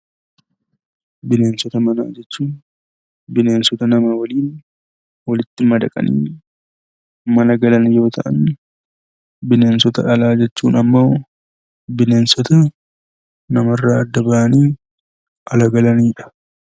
Bineensota manaa jechuun bineensota nama waliin walitti madaqanii mana galan yoo ta'an, bineensota alaa jechuun ammoo bineensota namarraa adda bahanii ala galanidha.